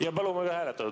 Jaa, palume ka hääletada.